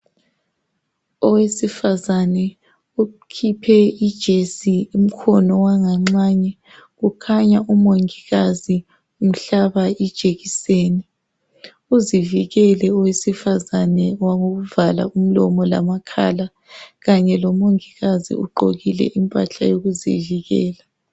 Owesifazane ukhiphe ijesi umkhono wanganxanye .Kukhanya umongikazi umhlaba ijekiseni .Uzivikele owesifazane ngokuvala umlomo lamakhala .Kanye lomongikazi ugqokile impahla yokuzivikela .